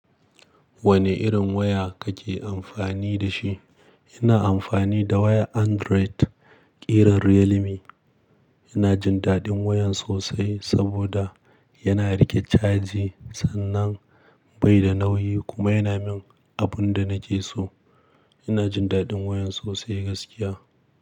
Wane irin waya kake amfani da shi? Ina amfani da wayar Android, ƙiran Realme. Ina jin daɗin wayan sosai saboda yana riƙe caji sannan bai da nauyi kuma yana min abun da nake so. Ina jin daɗin wayan sosai gaskiya.